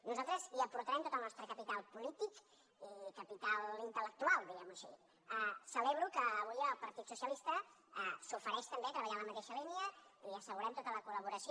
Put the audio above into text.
nosaltres hi aportarem tot el nostre capital polític i capital intelcelebro que avui el partit socialista s’ofereixi també a treballar en la mateixa línia i assegurem tota la collaboració